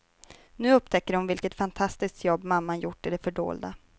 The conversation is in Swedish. Nu upptäcker hon vilket fantastiskt jobb mamman gjort i det fördolda.